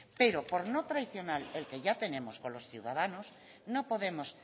pero por no traicionar el que ya tenemos con los ciudadanos no podemos